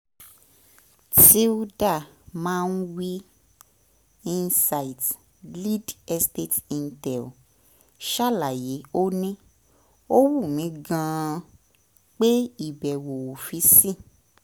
tilda mwai insights um lead estate intel ṣàlàyé ó ní: ó wù mí gan-an pé ìbẹ̀wò ọ́fíìsì